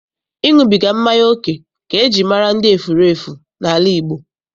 Ịṅụbiga mmanya oke ka eji mara ndị efurefu n'ala Igbo.